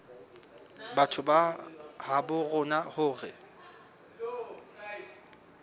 batho ba habo rona hore